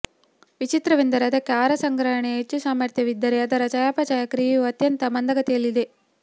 ವಿಚಿತ್ರವೆಂದರೆ ಅದಕ್ಕೆ ಆಹಾರ ಸಂಗ್ರಹಣೆಯ ಹೆಚ್ಚು ಸಾಮರ್ಥ್ಯವಿದ್ದರೆ ಅದರ ಚಯಾಪಚಯ ಕ್ರಿಯೆಯು ಅತ್ಯಂತ ಮಂದಗತಿಯಲ್ಲಿದೆ